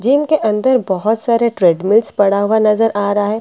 gym के अंदर बहुत सारे ट्रेडमिल्स पड़ा हुआ नज़र आ रहा है एक --